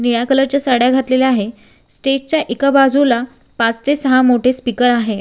निळ्या कलर च्या साड्या घातलेल्या आहे स्टेज च्या एका बाजूला पाच ते सहा मोठे स्पीकर आहे.